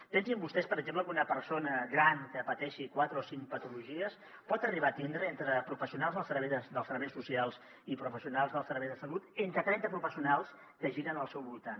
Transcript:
pensin vostès per exemple que una persona gran que pateixi quatre o cinc patologies pot arribar a tindre entre professionals dels serveis socials i professionals dels serveis de salut trenta professionals que giren al seu voltant